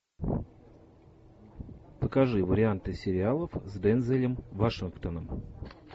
покажи варианты сериалов с дензелом вашингтоном